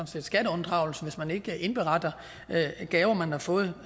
skatteunddragelse altså hvis man ikke indberetter gaver man har fået